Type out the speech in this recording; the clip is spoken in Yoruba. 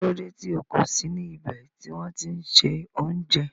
Kílódé tí o kò sí ní ibè tì wọn ti n ṣẹ ọ̀unjẹ?